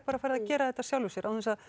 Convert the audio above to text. farið að gera þetta af sjálfu sér